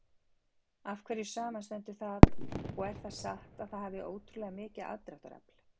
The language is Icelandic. Af hverju samanstendur það og er það satt að það hafi ótrúlega mikið aðdráttarafl?